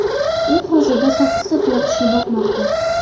U hozirda sakkizta tuyaqushni boqmoqda.